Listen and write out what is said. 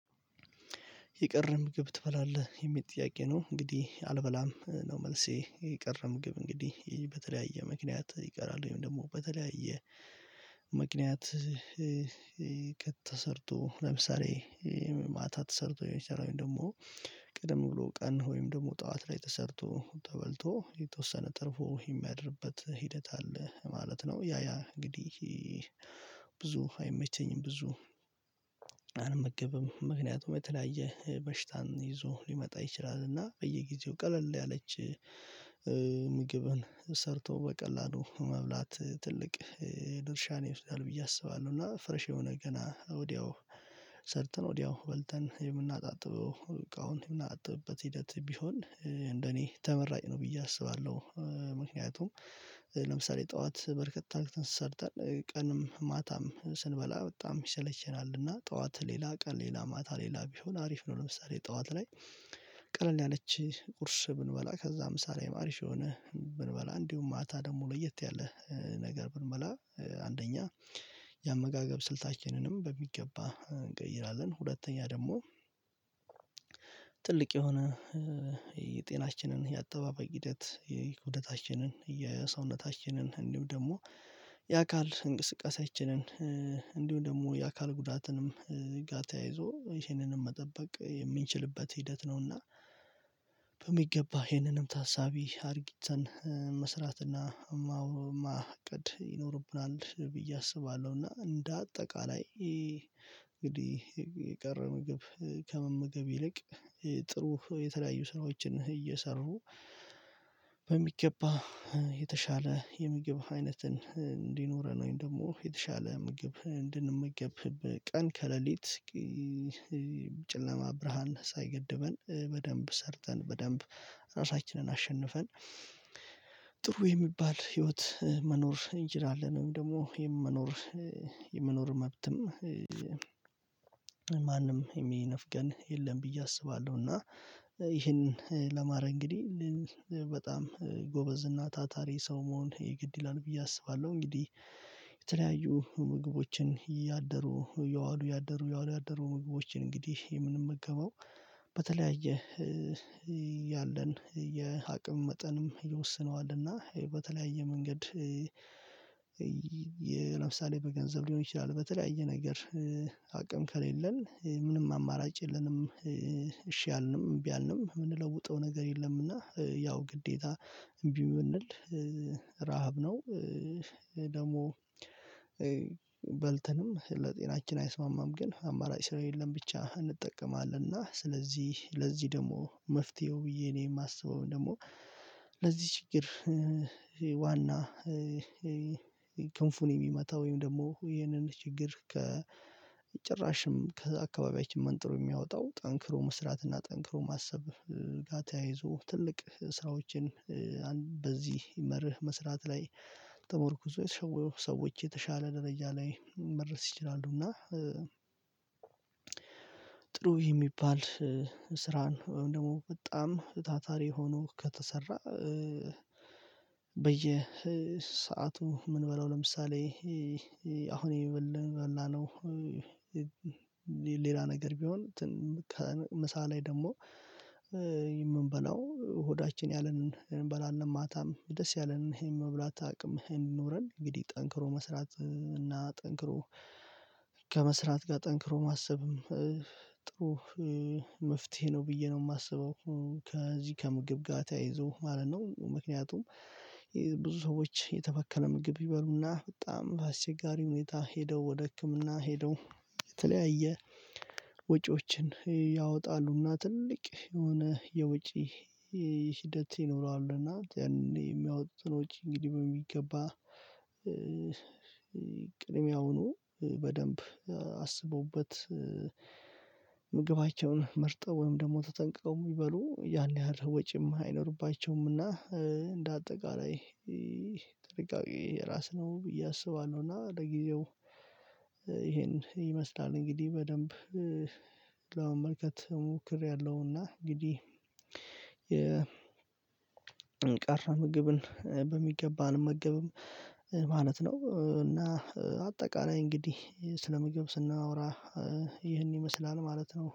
የቀረ ምግብ ትበላለህ የሚል ጥያቄ ነው? እንግዲህ አልበላም ነው መልሴ የቀረ ምግብ እንግዲህ በተለያየ ምክንያት ይቀራል ወይም ደግሞ በተለያየ ምክንያት። ለምሳሌ ማታ ተሰርቶ የሚሰራውን ደግሞ ቅድም ብሎ ቀን ወይም ደግሞ ጠዋት ላይ ተሰርቶ ተበልቶ የተወሰነ ተርፎ የሚያድርበት ሂደት አለ ማለት ነው። ያያ እንግዲህ ብዙ አይመቸኝም ብዙ አልመገብም ምክንያቱም የተለያየ በሽታን ይዞ ሊመጣ ይችላል። እና በየጊዜው ቀለል ያለች ምግብን ሰርቶ በቀላሉ መብላት ትልቅ ድርሻ ነው ይመስላል ብዬ አስባለሁ። እና ፍረሽ የሆነ ገና ወዲያው ሰርተን ወዲያው በልተን የምናጣጥበው እቃዉን የምናጣጥበው ሂደት ቢሆን እንደኔ ተመራጭ ነው ብዬ አስባለሁ። ምክንያቱም ለምሳሌ ጥኋት በርከት ታርክ ተንሰርተን ቀንም ማታም ስንበላ በጣም ይሰለቸናል እና ጥኋት ሌላ ቀን ሌላ ማታ ሌላ ቢሆን አሪፍ ነው። ለምሳሌ ጠዋት ላይ ቀለል ያለች ቁርስ ብንበላ ከዛ ምሳሌ አሪፍ የሆነ ብንበላ እንዲሁም ማታ ደግሞ ለየት ያለ ነገር ብንበላ አንደኛ የአመጋገብ ስልታችንንም በሚገባ እንቀይራለን። ሁለተኛ ደግሞ ትልቅ የሆነ የአተባበቅ ሂደት የኩደታችንን የሰውነታችንን እንዲሁም ደግሞ የአካል እንቅስቃሴያችንን እንዲሁም ደግሞ የአካል ጉዳትንም ጋር ተያይዞ ይሄንንም መጠበቅ የምንችልበት ሂደት ነውና በሚገባ ይህንንም ታሳቢ አድርጊተን መስራትና እና ማውቀድ ይኖርብናል ብዬ አስባለሁ። እና እንደ አጠቃላይ እንግዲህ የቀረ ምግብ ከመመገብ ይልቅ ጥሩ የተለያዩ ስራዎችን እየሰሩ በሚገባ የተሻለ የምግብ አይነትን እንዲኖረን ወይም ደግሞ የተሻለ ምግብ እንድንመገብ ቀን ከሌሊት ጨለማ ብርሃን ሳይገድበን በደንብ ሰርተን በደንብ ራሳችንን አሸንፈን ጥሩ የሚባል ህይወት መኖር ኢንጂነር አለ ወይም ደግሞ የመኖር የመኖር መብትም ማንም የሚነፍገን የለም ብዬ አስባለሁ። እና ይህንን ለማረ እንግዲህ በጣም ጎበዝ እና ታታሪ ሰው መሆን የግድ ይላል ብዬ አስባለሁ። እንግዲህ የተለያዩ ምግቦችን እያደሩ ያዋሉ ያደሩ ያዋሉ ያደሩ ምግቦችን እንግዲህ የምንመገበው የምገባው በተለያየ ያለን የአቅም መጠንም ይወስነዋልና በተለያየ መንገድ ለምሳሌ በገንዘብ ሊሆን ይችላል በተለያየ ነገር አቅም ከሌለን ምንም አማራጭ የለንም እሺ አልንም እምቢ አልንም የምንለውጠው ነገር የለምና ያው ግዴታ እምቢ የምንል ረሃብ ነው ደግሞ በልተንም ለጤናችን አይስማማም። ግን አማራጭ ስር የለም ብቻ እንጠቀማለን እና ስለዚህ ለዚህ ደግሞ መፍትሄው ብዬ እኔ የማስበውን ደግሞ ለዚህ ችግር ዋና ክንፉን የሚመታ ወይም ደግሞ ይህንን ችግር ከጭራሽም ከዛ አካባቢያችን መንጥሮ የሚያወጣው ጠንክሮ መስራትና ጠንክሮ ማሰብ ጋ ተያይዞ ትልቅ ስራዎችን በዚህ ይመርህ መስራት ላይ ጥምር ኩዞ የተሻለ የተሻለ ደረጃ ላይ መረስ ይችላሉ። እና ጥሩ የሚባል ስራን ወይም ደግሞ በጣም ታታሪ ሆኖ ከተሰራ በየ በየሰአቱ የምንበላው ለምሳሌ አሁን የምንበላው ሌላ ነገር ቢሆን እንትን ከምሳ ላይ ደግሞ የምንበላው ሆዳችን ያለንን የምንበላለን ማታም ደስ ያለንን ይሄን መብላት አቅም ይሄን ኖረን እንግዲህ ጠንክሮ መስራት እና ጠንክሮ ከመስራት ጋር ጠንክሮ ማሰብም ጥሩ መፍትሄ ነው ብዬ ነው የማስበው። ከዚህ ከምግብ ጋር ተያይዞ ማለት ነው። ምክንያቱም ሰዎች የተበከለ ምግብ ይበሉና በጣም አስቸጋሪ ሁኔታ ሄደው ወደ ህክምና ሄደው የተለያየ ወጪዎችን ያወጣሉና ትልቅ የሆነ የወጪ ሂደት ይኖረዋል። እና የሚያወጡትን ወጪ እንግዲህ በሚገባ ቅድሚያውን ቅድሚያውኑ በደንብ አስበውበት ምግባቸውን መርጠው ወይም ደግሞ ተጠንቅቀው የሚበሉ ያን ያህል ወጪም አይኖርባቸውምና እንደ አጠቃላይ ይሄ ጥልቅጥል የራስ ነው ብዬ አስባለሁ። እና ለጊዜው ይሄን ይመስላል እንግዲህ በደንብ ለመመልከት ሞክሬያለሁና እንግዲህ የ የእንቅር ምግብን በሚገባ አልመገብም ማለት ነው። እና አጠቃላይ እንግዲህ ስለምግብ ስናወራ ይህን ይመስላል ማለት ነው